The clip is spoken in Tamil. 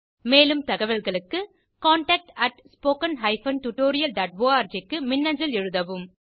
மேலும் தகவல்களுக்கு contactspoken tutorialorg க்கு மின்னஞ்சல் எழுதவும்